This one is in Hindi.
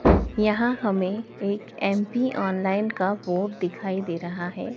यहां हमें एम_पी ऑनलाइन का बोर्ड दिखाई दे रहा है।